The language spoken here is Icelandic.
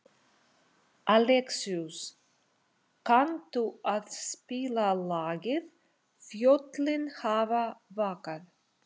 Alexíus, kanntu að spila lagið „Fjöllin hafa vakað“?